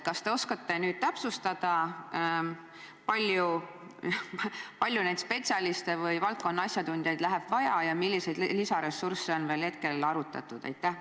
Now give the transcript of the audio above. Kas te oskate täpsustada, kui palju spetsialiste või valdkonna asjatundjaid vaja läheb ja milliseid lisaressursse on praeguseks veel arutatud?